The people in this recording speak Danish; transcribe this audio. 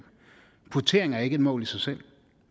kvotering er ikke et mål i sig selv